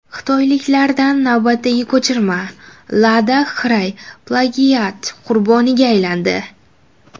Xitoyliklardan navbatdagi ko‘chirma: Lada Xray plagiat qurboniga aylandi.